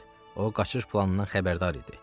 O, qaçış planından xəbərdar idi.